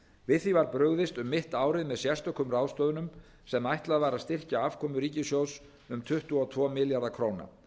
við því var brugðist um mitt árið með sérstökum ráðstöfunum sem ætlað var að styrkja afkomu ríkissjóðs um tuttugu og tvo milljarða króna